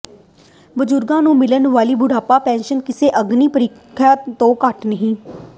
ਬਜ਼ੁਰਗਾਂ ਨੂੰ ਮਿਲਣ ਵਾਲੀ ਬੁਢਾਪਾ ਪੈਨਸ਼ਨ ਕਿਸੇ ਅਗਨੀ ਪ੍ਰੀਖਿਆ ਤੋਂ ਘੱਟ ਨਹੀ